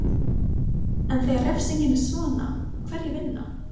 En þegar refsingin er svona, hverjir vinna?